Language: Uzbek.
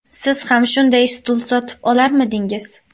Siz ham shunday stul sotib olarmidingiz?